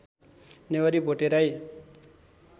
Newari Bhote Rai